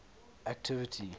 activity